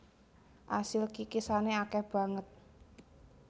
Asil kikisane akeh banget